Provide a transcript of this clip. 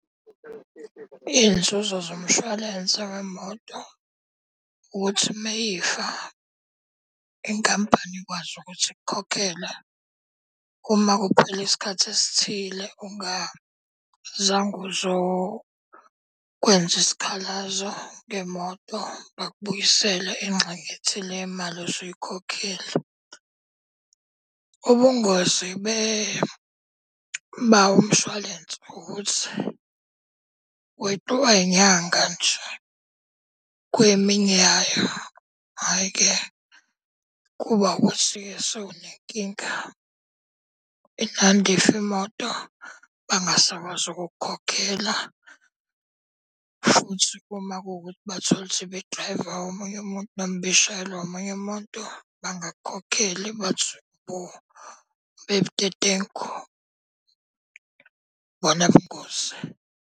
Iy'nzuzo zomshwalense wemoto ukuthi uma ifa, inkampani ikwazi ukuthi ikukhokhele. Uma kuphela isikhathi esithile ungazange uzokwenza isikhalazo ngemoto, bakubuyisele ingxenye ethile yemali osuyikhokhile. Ubungozi bawo umshwalense, ukuthi weqiwa inyanga nje kweminye yayo, hhayi-ke kuba ukuthi-ke sewunenkinga, ifa imoto bangasakwazi ukukukhokhela. Futhi uma kuwukuthi bathola ukuthi ibidrayivwa omunye umuntu noma ibishayelwa omunye umuntu bangakukhokheli bathi, hho, ube budedengu, ibona ubungozi.